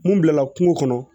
Mun bilala kungo kɔnɔ